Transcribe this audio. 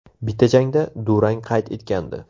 Bitta jangda durang qayd etgandi.